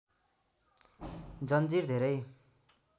जंजीर धेरै